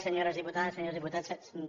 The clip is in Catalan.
senyores diputades senyors diputats senyor